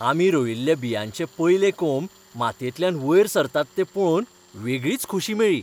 आमी रोयिल्ल्या बियांचे पयले कोंब मातयेंतल्यान वयर सरतात ते पळोवन वेगळीच खोशी मेळ्ळी.